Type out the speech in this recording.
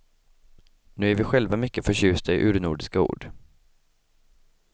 Nu är vi själva mycket förtjusta i urnordiska ord.